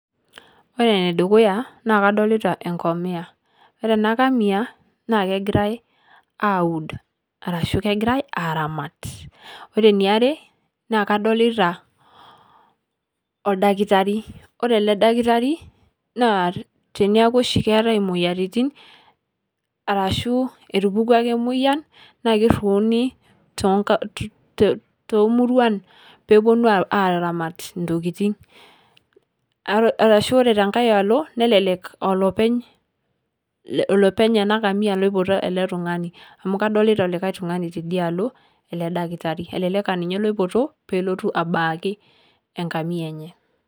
Ore nee dukuya naa kadolita enkamia, ore ena nkamia naa kegirai auud arashu kegirai aramaat. Ore niare naa kadolita oldaktari ore ele ldaktari naa teneaku shii keetai moyiaritin arashu atupukwa ake moyian naa keruuni to to murruan pee eponuu aramaat ntokitin. Arashu kore te nkaai aloo naleleek aa lopeny lopeny ana nkamia loipotoo ele ltung'ani amu kadolita likai ltung'ani tedia aloo ele ldaktari. Eleleek aa ninye loipotoo pee lootu abaaki enkamia enye.